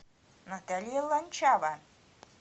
наталья ланчава